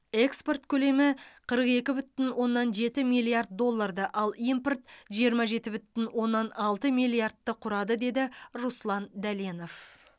экспорт көлемі қырық екі бүтін оннан жеті миллиард долларды ал импорт жиырма жеті бүтін оннан алты миллиардты құрады деді руслан дәленов